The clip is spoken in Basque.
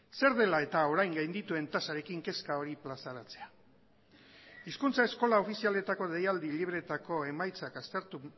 zer dela eta orain gaindituen tasarekin kezka hori plazaratzea hizkuntza eskola ofizialetako deialdi libreetako emaitzak aztertu